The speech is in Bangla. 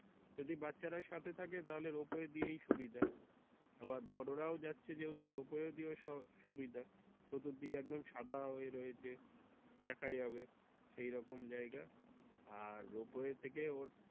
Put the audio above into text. যদি বাচ্চারা সাথে থাকে তাহলে Ropeway দিয়েই সুবিধা তোমার বড়রা ও যাচ্ছে যেহেতু রোপওয়ে দিয়েও সুবিধা চতুর্দিকে একদম সাদা হয়ে রয়েছে দেখা যাবে সেই রকম জায়গা আর Ropeway থেকে ওর।